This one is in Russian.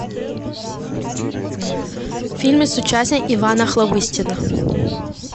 фильмы с участием ивана охлобыстина